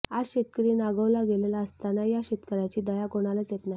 आज शेतकरी नागवला गेलेला असताना या शेतकऱ्याची दया कोणालाच येत नाही